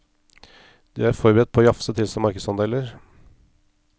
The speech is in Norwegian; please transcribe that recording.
De er forberedt på å jafse til seg markedsandeler.